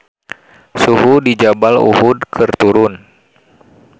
Suhu di Jabal Uhud keur turun